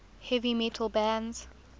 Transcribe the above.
heavy metal bands